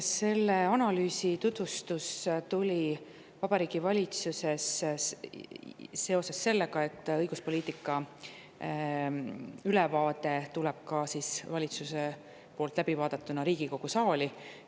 Selle analüüsi tutvustus Vabariigi Valitsuses on seotud sellega, et ka poliitika ülevaade tuleb pärast valitsuses läbivaatamist Riigikogu saali.